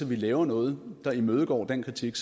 vi laver noget der imødegår den kritik